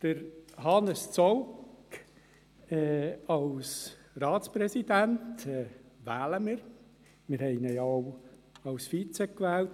Wir wählen Hannes Zaugg zum Ratspräsidenten und hatten ihn bereits als Vizepräsident gewählt.